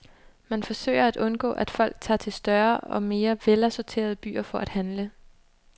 Man forsøger at undgå, at folk tager til større og mere velassorterede byer for at handle.